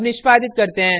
अब निष्पादित करते हैं